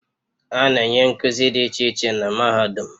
A na-enye nkuzi dị iche iche na mahadum